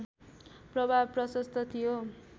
प्रभाव प्रशस्त थियो